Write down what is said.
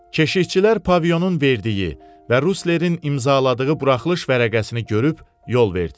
Keşikçilər Pavilyonun verdiyi və Ruslerin imzaladığı buraxılış vərəqəsini görüb yol verdilər.